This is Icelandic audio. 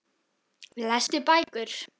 Lestu bækur.